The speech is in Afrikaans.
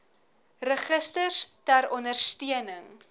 registers ter ondersteuning